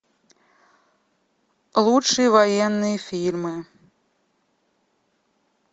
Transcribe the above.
лучшие военные фильмы